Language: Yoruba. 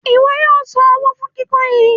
Ìwo yóò sàn owó fún kíkún yìí.